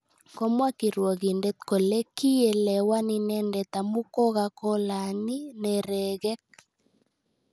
Komwa kirwogindet kole kiielewan inendet amu kokakolaany neregek